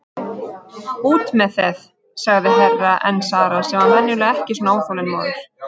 Út með þeð, sagði Herra Enzana sem var venjulega ekki svona óþolinmóður.